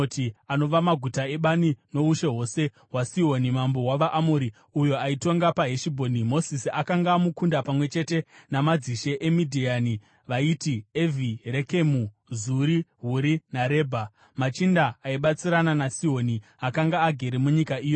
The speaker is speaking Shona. anova maguta ebani, noushe hwose hwaSihoni, mambo wavaAmori, uyo aitonga paHeshibhoni. Mozisi akanga amukunda pamwe chete namadzishe eMidhiani vaiti Evhi, Rekemu, Zuri, Huri, naRebha, machinda aibatsirana naSihoni, akanga agere munyika iyoyo.